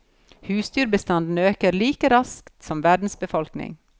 Husdyrbestanden øker like raskt som verdens befolkning.